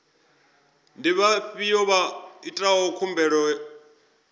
ndi vhafhiyo vha itaho khumbelo